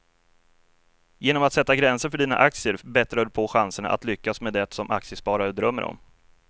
Genom att sätta gränser för dina aktier bättrar du på chanserna att lyckas med det som aktiesparare drömmer om.